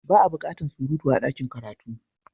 Ba a bukatar surutu a dakin karatu.